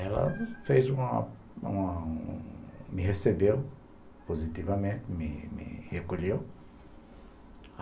E ela fez uma uma me recebeu positivamente, me me recolheu.